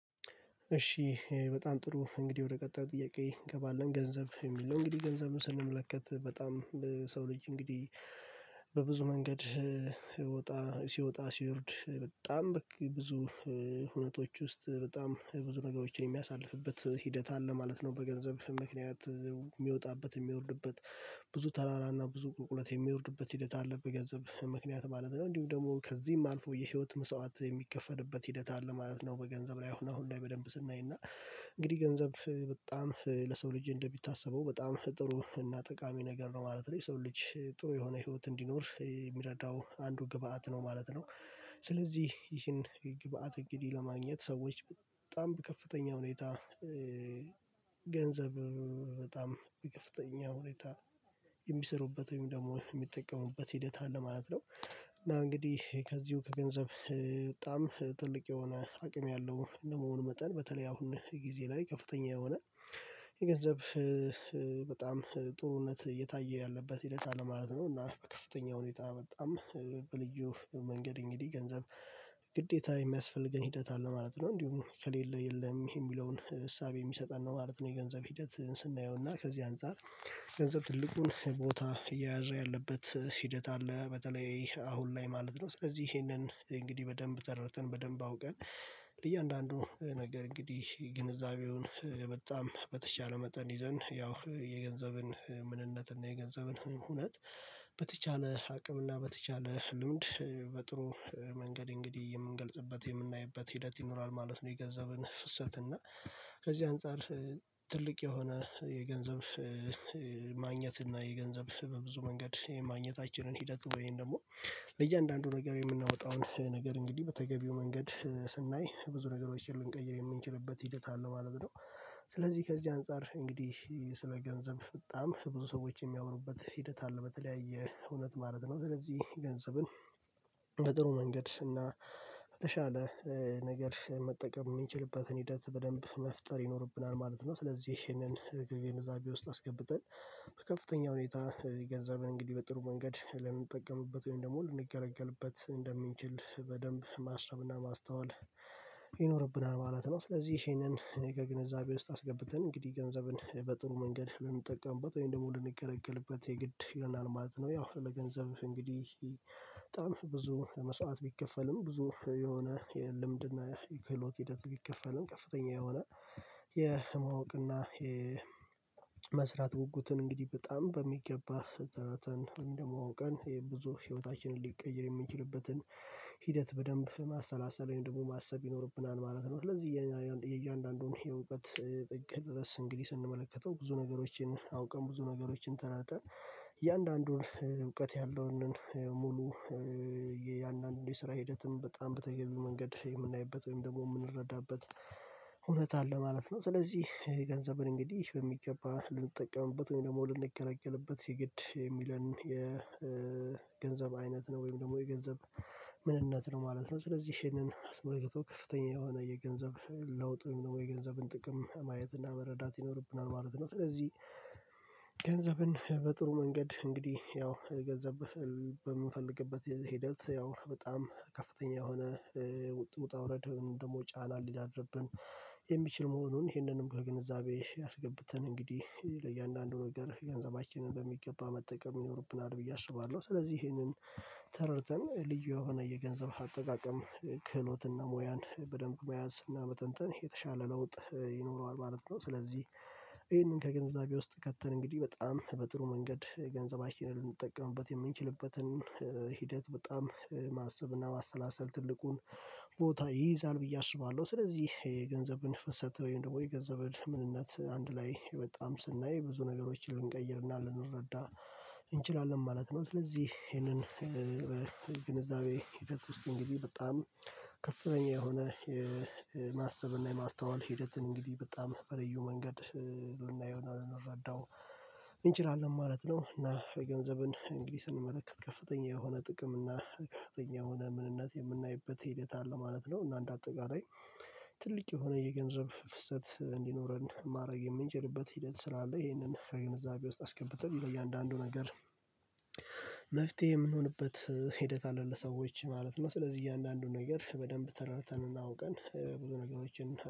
እሺ፣ በጣም ጥሩ! እንግዲህ ወደ ቀጣዩ ጥያቄ እንገባለን፤ ገንዘብ የሚል ነው። እንግዲህ ገንዘብን ስንመለከት፣ በጣም ለሰው ልጅ እንግዲህ በብዙ መንገድ ውጣ ሲወጣ ሲወርድ፣ በጣም በቃ ብዙ ሁነቶች ውስጥ በጣም ብዙ ነገሮችን የሚያሳልፍበት ሂደት አለ ማለት ነው። በገንዘብ ምክንያት የሚወጣበት፣ የሚወርድበት፣ ብዙ ተራራና ብዙ ቁልቁለት የሚወርድበት ሂደት አለ፤ በገንዘብ ምክንያት ማለት ነው። እንዲሁም ደግሞ ከዚህም አልፎ የህይወት መስዋዕትነት የሚከፈልበት ሂደት አለ ማለት ነው። በገንዘብ ላይ ሆኖ አሁን አሁን በደንብ ስናየው እንግዲህ ገንዘብ በጣም ለሰው ልጅ እንደሚታሰበው በጣም ጥሩ እና ጠቃሚ ነገር ነው ማለት ነው። የሰው ልጅ ጥሩ የሆነ ህይወት እንዲኖር ከሚረዱት አንዱ ግብአት ነው ማለት ነው። ስለዚህ ይህን ግብአት እንግዲህ ለማግኘት ሰዎች በጣም በከፍተኛ ሁኔታ ገንዘብ በጣም በከፍተኛ ሁኔታ የሚሰሩበት ወይም ደግሞ የሚጠቀሙበት ሂደት አለ ማለት ነው። እና እንግዲህ ከዚሁ ገንዘብ በጣም ትልቅ የሆነ አቅም ያለው እንደ መሆኑ መጠን፣ በተለይ በአሁኑ ጊዜ ላይ ከፍተኛ የሆነ የገንዘብ በጣም ጥሩነት እየታየ ያለበት ሂደት አለ ማለት ነው። እና በከፍተኛ ሁኔታ፣ በጣም በልዩ መንገድ እንግዲህ ገንዘብ ግዴታ የሚያስፈልገን ሂደት አለ ማለት ነው። እንዲሁም ከሌለ የለም የሚለውን እሳቤ የሚሰጠን ነው ማለት ነው፣ የገንዘብን ሂደት ስናየው። እና ከዚህ አንፃር ገንዘብ ትልቁን ቦታ እየያዘ ያለበት ሂደት አለ፤ በተለይ አሁን ላይ ማለት ነው። ስለዚህ ይሄንን እንግዲህ በደንብ ተረድተን፣ በደንብ አውቀን ለእያንዳንዱ ነገር እንግዲህ ግንዛቤውን በጣም በተቻለ መጠን ይዘን፣ ያው የገንዘብን ምንነት እና የገንዘብን ሁነት በተቻለ አቅምና በተቻለ ልምድ በጥሩ መንገድ እንግዲህ የምንገልጽበት፣ የምናይበት ሂደት ይኖራል ማለት ነው—የገንዘብን ፍሰት። እና ከዚህ አንፃር ትልቅ የሆነ የገንዘብ ማግኘት እና የገንዘብ በብዙ መንገድ የማግኘታችንን ሂደት ወይም ደግሞ ለእያንዳንዱ ነገር የምናወጣውን ነገር እንግዲህ በተገቢው መንገድ ስናይ፣ ብዙ ነገሮችን ልንቀይር የምንችልበት ሂደት አለው ማለት ነው። ስለዚህ ከዚህ አንፃር እንግዲህ ስለ ገንዘብ በጣም ብዙ ሰዎች የሚያወሩበት ሂደት አለ፤ በተለያየ እውነት ማለት ነው። ስለዚህ ገንዘብን ለጥሩ መንገድ እና በተሻለ ነገር መጠቀም የምንችልበትን ሂደት በደንብ መፍጠር ይኖርብናል ማለት ነው። ስለዚህ ይህንን ግንዛቤ ውስጥ አስገብተን፣ በከፍተኛ ሁኔታ ገንዘብን በጥሩ መንገድ ልንጠቀምበት ወይም ደግሞ ልንገለገልበት እንደምንችል በደንብ ማሰብና ማስተዋል ይኖርብናል። ማለት ነው። ስለዚህ ይህንን ከግንዛቤ ውስጥ አስገብተን እንግዲህ ገንዘብን በጥሩ መንገድ ብንጠቀምበት ወይም ደግሞ ልንገለገልበት የግድ ይላል ማለት ነው። ያው ለገንዘብ እንግዲህ በጣም ብዙ መስዋዕትነት ቢከፈልም፣ ብዙ የሆነ የልምድና የክህሎት ሂደት ቢከፈልም፣ ከፍተኛ የሆነ የማወቅና የመስራት ጉጉትን እንግዲህ በጣም በሚገባ ተረድተን ወይም ደግሞ ዐውቀን፣ ይህ ብዙ ሕይወታችንን ሊቀይር የሚችልበትን ሂደት በደንብ ማሰላሰልና ደግሞ ማሰብ ይኖርብናል ማለት ነው። ስለዚህ የእያንዳንዱን የእውቀት ጥግ ድረስ እንግዲህ ስንመለከተው፣ ብዙ ነገሮችን ዐውቀን፣ ብዙ ነገሮችን ተረድተን፣ እያንዳንዱን እውቀት ያለውን ሙሉ የእያንዳንዱ የስራ ሂደትም በጣም በተገቢ መንገድ ወይም ደግሞ የምንረዳበት እውነት አለ ማለት ነው። ስለዚህ ገንዘብን እንግዲህ በሚገባ ልንጠቀምበት ወይም ደግሞ ልንገለገልበት የግድ የሚለን የገንዘብ አይነት ነው ወይም ደግሞ የገንዘብ ምንነት ነው ማለት ነው። ስለዚህ ይህንን አስመልክቶ፣ ከፍተኛ የሆነ የገንዘብ ለውጥን፣ የገንዘብን ጥቅም ማየት እና መረዳት ይኖርብናል ማለት ነው። ስለዚህ ንዘብን በጥሩ መንገድ እንግዲህ ያው ገንዘብ በምንፈልግበት ሂደት፣ ያው በጣም ከፍተኛ የሆነ ውጣ ውረድ ደግሞ ጫና ሊያድርብን የሚችል መሆኑን፣ ይህንንም ከግንዛቤ አስገብተን እንግዲህ ለእያንዳንዱ ነገር ገንዘባችንን በሚገባ መጠቀም ይኖርብናል ብዬ አስባለሁ። ስለዚህ ይህንን ተረድተን፣ ልዩ የሆነ የገንዘብ አጠቃቀም ክህሎትና ሙያን በደንብ መያዝ እና መተንተን የተሻለ ለውጥ ይኖረዋል ማለት ነው። ስለዚህ ይህንን ከግንዛቤ ውስጥ ከተን እንግዲህ በጣም በጥሩ መንገድ ገንዘባችንን ልንጠቀምበት የምንችልበትን ሂደት በጣም ማሰብና ማሰላሰል ትልቁን ቦታ ይይዛል ብዬ አስባለሁ። ስለዚህ የገንዘብን ፍሰት ወይም ደግሞ የገንዘብን ምንነት አንድ ላይ በጣም ስናይ፣ ብዙ ነገሮችን ልንቀይርና ልንረዳ እንችላለን ማለት ነው። ስለዚህ ይህንን የትኩስን ጊዜ በጣም ከፍተኛ የሆነ የማሰብና የማስተዋል ሂደት እንግዲህ በጣም በልዩ መንገድ ልናየው፣ ልንረዳው እንችላለን ማለት ነው። እና የገንዘብን እንግዲህ ስንመለከት፣ ከፍተኛ የሆነ ጥቅም እና ከፍተኛ የሆነ ምንነት የምናይበት ሂደት አለ ማለት ነው። እና እንደ አጠቃላይ ትልቅ የሆነ የገንዘብ ፍሰት እንዲኖረን ማድረግ የምንችልበት ሂደት ስላለ፣ ይህንን ከግንዛቤ ውስጥ አስገብተን በእያንዳንዱ ነገር መፍትሄ የምንሆንበት ሂደት አለን ለሰዎች ማለት ነው። ስለዚህ እያንዳንዱን ነገር በደንብ ተረድተን፣ ዐውቀን ብዙ ነገሮችን